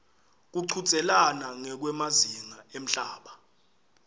kuchudzelana ngekwemazinga emhlaba